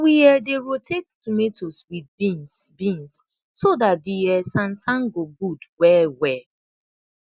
we um dey rotate tomatoes wit beans beans so dat de um sansan go gud welwel